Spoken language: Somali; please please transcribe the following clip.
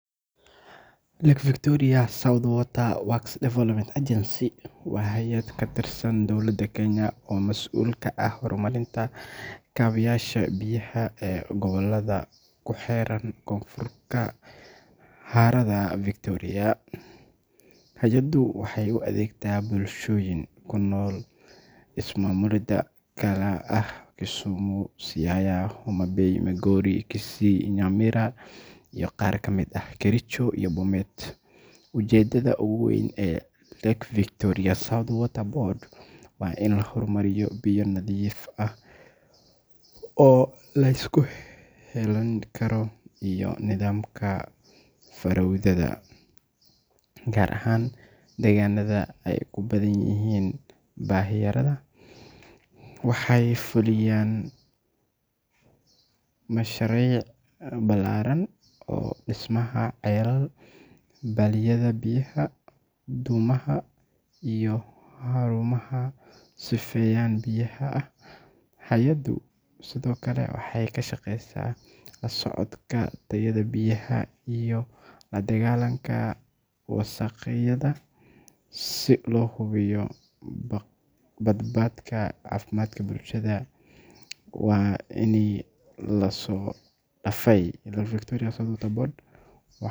Lake Victoria South Water Works Development Agency waa hay’ad ka tirsan dowladda Kenya oo mas’uul ka ah horumarinta kaabayaasha biyaha ee gobollada ku xeeran Koonfurta harada Victoria. Hay’addu waxay u adeegtaa bulshooyin ku nool ismaamullada kala ah Kisumu, Siaya, Homa Bay, Migori, Kisii, Nyamira iyo qaar ka mid ah Kericho iyo Bomet. Ujeeddada ugu weyn ee Lake Victoria South Water Board waa in la horumariyo biyo nadiif ah oo la isku halleyn karo iyo nidaamka fayadhowrka, gaar ahaan deegaanada ay ku badan yihiin baahiyaha. Waxay fuliyaan mashaariic ballaaran oo dhismaha ceelal, balliyada biyaha, dhuumaha, iyo xarumaha sifeynta biyaha ah. Hay’addu sidoo kale waxay ka shaqeysaa la socodka tayada biyaha iyo la dagaalanka wasakheynta si loo hubiyo badqabka caafimaadka bulshada. Sanadihii la soo dhaafay, Lake Victoria South Water Board.